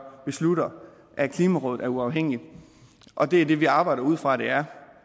beslutter at klimarådet er uafhængigt og det er det vi arbejder ud fra at det er